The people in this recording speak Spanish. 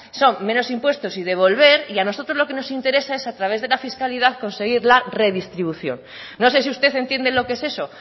son menos impuestos y devolver y a nosotros lo que nos interesa es a través de la fiscalidad conseguir la redistribución no sé si usted entiende lo qué es eso